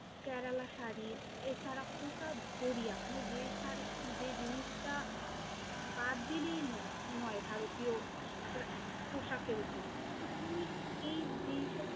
কেরালা শাড়ি এছাড়া কুটার জরিয়া মানে যে শাড়ি, যে জিনিসটা বাদ দিলেই নয় ভারতীয় পোশাকের উপর, তো তুমি এই যেইসব